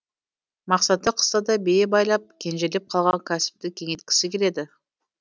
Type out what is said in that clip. мақсаты қыста да бие байлап кенжелеп қалған кәсіпті кеңейткісі келеді